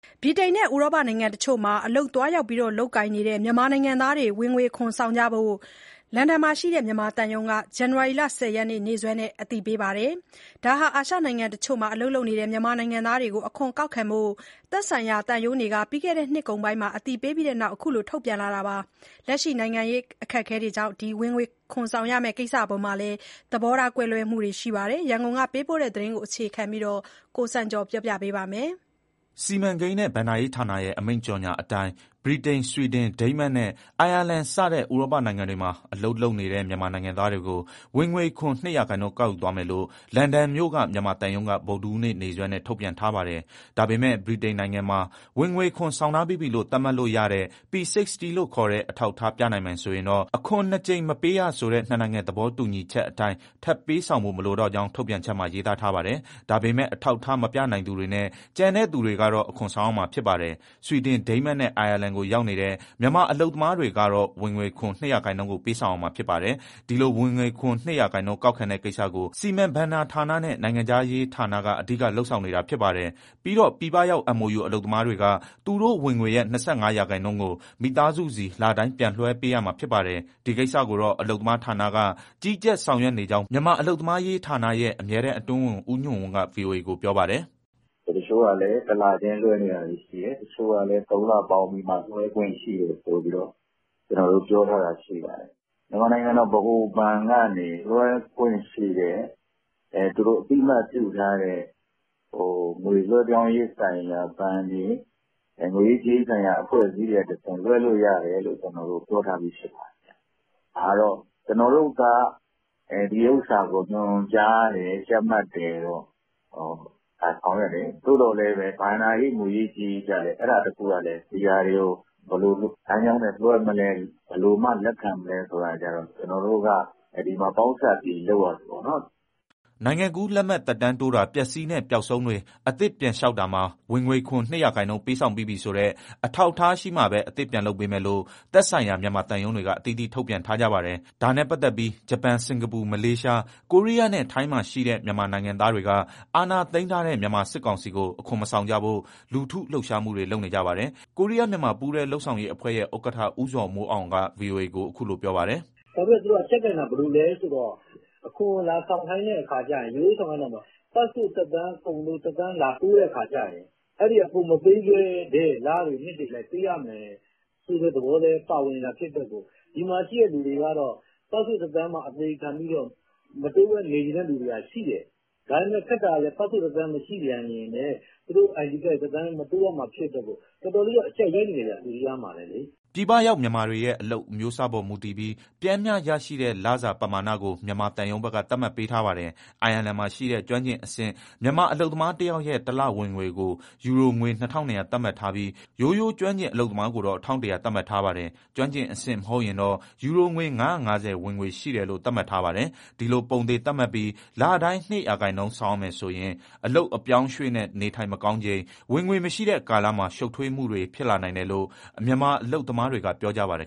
ဗြိတိန်နဲ့ ဥရောပနိုင်ငံတချို့မှာ အလုပ်သွားရောက် လုပ်ကိုင်နေတဲ့ မြန်မာနိုင်ငံသားတွေကို ဝင်ငွေခွန်ဆောင်ဖို့အတွက် အင်္ဂလန်မှာရှိတဲ့ မြန်မာသံရုံးက ဇန်နဝါရီလ ၁၀ရက်နေ့စွဲနဲ့ အသိပေးထားပါတယ်။ ဒါဟာ အာရှနိုင်ငံတချို့မှာ အလုပ်လုပ်နေကြတဲ့ မြန်မာနိုင်ငံသားတွေကို အခွန်ကောက်ခံဖို့ သက်ဆိုင်ရာ သံရုံးတွေက ပြီးခဲ့တဲ့ နှစ်ကုန်ပိုင်းမှာ အသိပေးပြီးတဲ့နောက် အခုလို ထုတ်ပြန်လာခဲ့တာပါ။ လက်ရှိနိုင်ငံရေး ပြဿနာတွေကြောင့် ဝင်ငွေခွန်ဆောင်ရမဲ့ ကိစ္စအပေါ်မှာ သဘောထား ကွဲလွဲမှုတွေ အများအပြား ရှိနေကြပါတယ်။ ရန်ကုန်ကပေးပို့တဲ့ ဒီသတင်းကို အခြေခံပြီး ကိုစံကျော်က ပြောပြမှာပါ။ စီမံကိန်းနဲ့ ဘဏ္ဍာရေးဌာနရဲ့ အမိန့်ကြေညာချက်အတိုင်း ဗြိတိန်၊ ဆွီဒင်၊ ဒိန်းမတ်နဲ့ အိုင်ယာလန် စတဲ့ ဥရောပနိုင်ငံတွေမှာ အလုပ်လုပ်နေတဲ့ မြန်မာနိုင်ငံသားတွေကို ဝင်ငွေခွန် ၂ရာခိုင်နှုန်း ကောက်ယူသွားမယ်လို့ လန်ဒန်မြို့ မြန်မာသံရုံးက ဗုဒ္ဓဟူးနေ့ နေ့စွဲနဲ့ ထုတ်ပြန်ထားပါတယ်။ ဒါပေမဲ့ ဗြိတိန်နိုင်ငံမှာ ဝင်ငွေခွန် ဆောင်ထားပြီးပြီလို့ သတ်မှတ်လို့ရတဲ့ P60 လို့ခေါ်တဲ့ အထောက်အထား ပြနိုင်မယ်ဆိုရင်တော့ အခွန်နှစ်ကြိမ် မပေးရဆိုတဲ့ နှစ်နိုင်ငံ သဘောတူညီချက်အတိုင်း ထပ်ပေးဆောင်ဖို့ မလိုကြောင်း ထုတ်ပြန်ချက်မှာ ရေးသားထားပါတယ်။ ဒါပေမဲ့ အထောက်အထား မပြနိုင်သူတွေနဲ့ ကျန်တဲ့သူတွေကတော့ အခွန်ဆောင်ရမှာ ဖြစ်ပါတယ်။ ဆွီဒင်၊ ဒိန်းမတ်နဲ့ အိုင်ယာလန်ကို ရောက်နေတဲ့ မြန်မာအလုပ်သမားတွေကတော့ ဝင်ငွေခွန် ၂ရာခိုင်နှုန်းကို ပေးဆောင်ရမှာ ဖြစ်ပါတယ်။ ဒီလို ဝင်ငွေခွန် ၂ရာခိုင်နှုန်း ကောက်ခံတဲ့ကိစ္စကို စီမံဘဏ္ဍာဌာနနဲ့ နိုင်ငံခြားရေးဌာနက အဓိက လုပ်ဆောင်နေတာ ဖြစ်ပါတယ်။ ပြီးတော့ ပြည်ပရောက် MoU အလုပ်သမားတွေက သူတို့ဝင်ငွေရဲ့ ၂၅ရာခိုင်နှုန်းကို မိသားစုဆီ လတိုင်း ပြန်လွှဲပေးရမှာ ဖြစ်ပါတယ်။ ဒီကိစ္စကိုတော့ အလုပ်သမားဌာနက ကြီးကြပ်၊ ဆောင်ရွက်နေကြောင်း မြန်မာအလုပ်သမားရေးဌာနရဲ့ အမြဲတမ်းအတွင်းဝန် ဦးညွှန့်ဝင်းက ဗွီအိုအေကို ပြောပါတယ်။ "တချို့ကလည်း တလချင်းလွှဲနေတာတွေ ရှိတယ်၊ တချို့ကလည်း သုံးလပေါင်းပြီးမှ လွှဲခွင့်ရှိတယ်ဆိုပြီးမှ ကျနော်တို့ပြောထားတာ ရှိပါတယ်။ မြန်မာနိုင်ငံ ဗဟိုဘဏ်ကနေ လွှဲခွင့်ပြုတဲ့ သူတို့အသိအမှတ်ပြုထားတဲ့ ငွေလွှဲပြောင်းရေးဆိုင်ရာ ဘဏ်တွေ၊ ငွေရေးကြေးရေးဆိုင်ရာ အဖွဲ့အစည်းတွေကတဆင့် လွှဲလို့ရတယ်လို့ ကျနော်တို့ ပြောထားပြီး ဖြစ်ပါတယ်။ ဒါကတော့ ကျနော်တို့က ဒီဥစ္စာကို ညွှန်ကြားတယ်၊ ကြပ်မတ်တယ်၊ ဆောင်ရွက်တယ်။ သို့သော်လည်း ဘဏ္ဍာရေး၊ ငွေရေး ကြေးရေးကျလည်း အဲဒါတခုကလည်း ဘယ်လိုလမ်းကြောင်းနဲ့ လွှဲမလဲ၊ ဘယ်လိုမှ လက်ခံမလဲဆိုတာ ဒီမှာကျနော်တို့က ပေါင်းစပ်ပြီး လုပ်ရတာပေါ့နော်။" နိုင်ငံကူးလက်မှတ် သက်တမ်းတိုးတာ၊ ပျက်စီးနဲ့ ပျောက်ဆုံးတွေ အသစ်ပြန်လျှောက်တာမှာ ဝင်ငွေခွန် ၂ရာခိုင်နှုန်း ပေးဆောင်ပြီးပြီဆိုတဲ့ အထောက်အထားရှိမှာပဲ အသစ်ပြန်လုပ်ပေးမယ်လို့ သက်ဆိုင်ရာ မြန်မာသံရုံးတွေက အသီးသီး ထုတ်ပြန်ထားကြပါတယ်။ ဒါနဲ့ပတ်သက်ပြီး ဂျပန်၊ စင်္ကာပူ၊ မလေးရှား၊ ကိုရီးယားနဲ့ ထိုင်းမှာ ရှိတဲ့ မြန်မာနိုင်ငံသားတွေက အာဏာသိမ်းထားတဲ့ မြန်မာစစ်ကောင်စီကို အခွန်မဆောင်ကြဖို့ လူထုလှုပ်ရှားမှုတွေ လုပ်နေကြပါတယ်။ ကိုရီးယားမြန်မာ ပူးတွဲလုပ်ဆောင်ရေးအဖွဲ့ရဲ့ ဥက္ကဋ္ဌ ဦးဇော်မိုးအောင် က ဗွီအိုအေကို အခုလို ပြောပါတယ်။ " သူတို့က အကျပ်ကိုင်တာ။ ဘယ်လိုလဲဆိုတော့ အခွန်ကို လာဆောင်ခိုင်းတဲ့အခါကြရင် ရိုးရိုးဆောင်ခိုင်းတာမဟုတ်ဘူး၊ ပတ်စ်ပို့ သက်တမ်းကုန်လို့ လာတိုးတဲ့အခါကြရင် ကိုယ်မပေးခဲ့တဲ့ လတွေ၊ နှစ်တွေအလိုက် ပေးရမယ်ဆိုတဲ့ သဘောလည်း ပါဝင်တာဖြစ်တဲ့အတွက် ဒီမှာရှိတဲ့သူတွေကတော့ ပတ်စ်ပို့သက်တမ်း အသေခံပြီးတော့ မတိုးဘဲနေချင်တဲ့သူတွေက ရှိတယ်။ ဒါပေမဲ့ ခက်တာက ပတ်စ်ပို့သက်တမ်း မရှိပြန်ရင်လည်း သူတို့ ID ကတ်တွေ မတိုးရမှာဖြစ်တဲ့အတွက် တော်တော်လေး အကျပ်ရိုက်နေတယ်ဗျ၊ ကိုရီးယားမှာလည်းလေ။" ပြည်ပရောက် မြန်မာတွေရဲ့ အလုပ်အမျိုးအစားအပေါ် မူတည်ပြီး ပျမ်းမျှရနိုင်တဲ့ လစာပမာဏကို မြန်မာသံရုံးဘက်က သတ်မှတ် ပေးထားပါတယ်။ အိုင်ယာလန်မှာရှိတဲ့ ကျွမ်းကျင်အဆင့်မြင့် မြန်မာအလုပ်သမားတယောက်ရဲ့ တလဝင်ငွေကို ယူရိုငွေ ၂,၂၀၀ သတ်မှတ်ထားပြီး၊ ရိုးရိုးကျွမ်းကျင် အလုပ်သမားကိုတော့ ၁,၁၀၀ သတ်မှတ်ထားပါတယ်။ ကျွမ်းကျင်အဆင့် မဟုတ်ရင်တော့ ယူရိုငွေ ၅၅၀ ဝင်ငွေရှိတယ်လို့ သတ်မှတ်ထားပါတယ်။ ဒီလို ပုံသေသတ်မှတ်ပြီး လတိုင်း ၂ရာခိုင်နှုန်း ဆောင်ရမယ်ဆိုရင် အလုပ်အပြောင်းအရွှေ့နဲ့ နေထိုင်မကောင်းချိန် ဝင်ငွေမရှိတဲ့ကာလမှာ ရှုပ်ထွေးမှုတွေ ဖြစ်လာနိုင်တယ်လို့ မြန်မာအလုပ်သမားတွေက ပြောကြပါတယ်